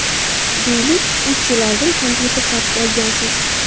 Deylik, uch yil oldin kompyuter sotib olgansiz.